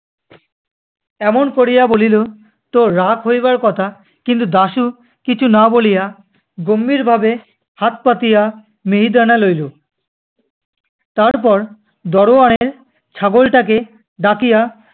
এমন করিয়া বলিল তো রাগ হইবার কথা! কিন্তু দাশু কিছু না বলিয়া গম্ভীর ভাবে হাত পাতিয়া মিহিদানা লইলো। তারপর দারোয়ানের ছাগলটাকে ডাকিয়া-